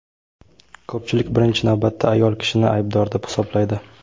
ko‘pchilik birinchi navbatda ayol kishini aybdor deb hisoblaydi.